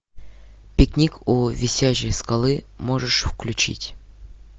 пикник у висячей скалы можешь включить